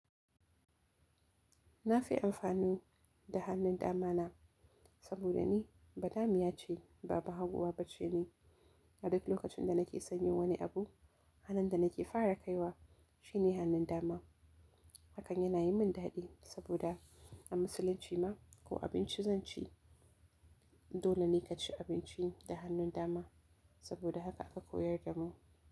Na fi amfani da hannun dama na saboda ni ba damiya ce, baba haguwa bace ni. A duk lokacin da nake sanyin wani abu, hannun da nake fara kaiwa shine hannun dama. Hakan yana yin min dadi saboda a musulunci ma ko abinci zan ci, dole ne ka ci abinci da hannun dama saboda haka aka koyar da mu.